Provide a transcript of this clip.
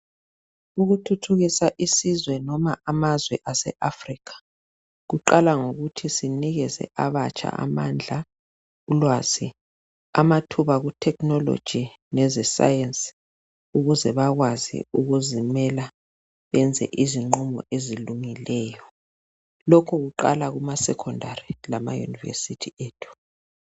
Ukuthuthukisa isizwe noma amazwe aseAfrica, kuqala ngokuthi sinikeze abatsha amandla, ulwazi amathuba kuthekhinoloji leze sayensi ukuze bakwazi ukuzimela benze izinqumo ezilungileyo. Lokhu kuqala kuma secondary lama univesithi ethu.